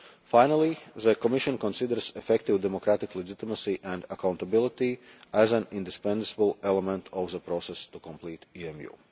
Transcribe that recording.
Finally, the Commission considers effective democratic legitimacy and accountability to be an indispensable element of the process to complete